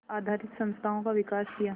आधारित संस्थाओं का विकास किया